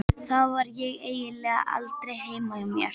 Þá var ég eiginlega aldrei heima hjá mér.